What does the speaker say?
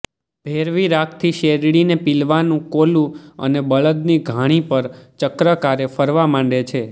ભૈરવી રાગથી શેરડીને પીલવાનું કોલું અને બળદની ઘાણી પણ ચક્રાકારે ફરવા માંડે છે